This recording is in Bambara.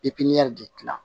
de gilan